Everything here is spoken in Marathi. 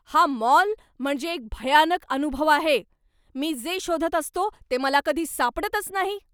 हा मॉल म्हणजे एक भयानक अनुभव आहे. मी जे शोधत असतो ते मला कधी सापडतच नाही.